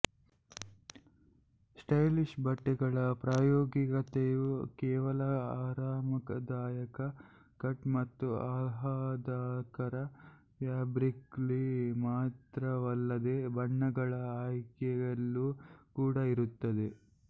stylish ಬಟ್ಟೆಗಳ ಪ್ರಾಯೋಗಿಕತೆಯು ಕೇವಲ ಆರಾಮದಾಯಕ ಕಟ್ ಮತ್ತು ಆಹ್ಲಾದಕರ ಫ್ಯಾಬ್ರಿಕ್ನಲ್ಲಿ ಮಾತ್ರವಲ್ಲದೆ ಬಣ್ಣಗಳ ಆಯ್ಕೆಯಲ್ಲೂ ಕೂಡ ಇರುತ್ತದೆ